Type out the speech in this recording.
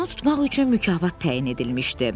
Conu tutmaq üçün mükafat təyin edilmişdi.